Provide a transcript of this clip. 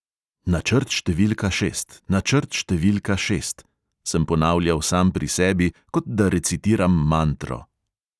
"Načrt številka šest, načrt številka šest," sem ponavljal sam pri sebi, kot da recitiram mantro.